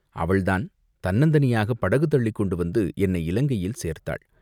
அவள்தான் தன்னந்தனியாகப் படகு தள்ளிக்கொண்டு வந்து என்னை இலங்கையில் சேர்த்தாள்.